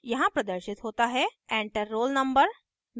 यहाँ प्रदर्शित होता है enter roll no: